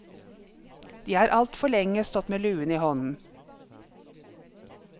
De har altfor lenge stått med luen i hånden.